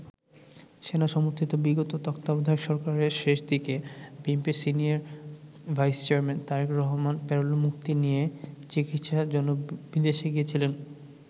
সেনা সমর্থিত বিগত তত্বাবধায়ক সরকারের শেষ দিকে বিএনপির senior vice chairman Tarique Rahman প্যারোলে মুক্তি নিয়ে চিকিৎসার জন্য বিদেশ গিয়েছিলেন।